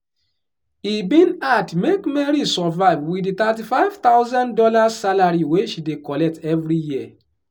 e bin hard make mary survive wit di thirty five thousand dollars salary wey she dey collect every year